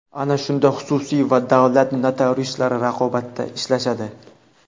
Ana shunda xususiy va davlat notariuslari raqobatda ishlashadi.